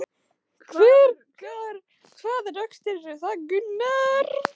Hvað rökstyður það?